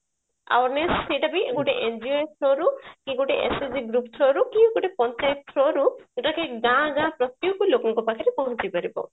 awareness ସେଟା ବି ଗୋଟେ NGO through ରୁ କୋ ଗୋଟେ SSG group through ରୁ କି ଗୋଟେ ପଞ୍ଚାୟତ through ରୁ ସେଟା ଗାଁ ଗାଁ ପ୍ରତ୍ୟକ ଲୋକଙ୍କ ପାଖରେ ପହଞ୍ଚି ପାରିବ